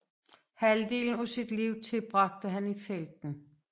Halvdelen af sit liv tilbragte han i felten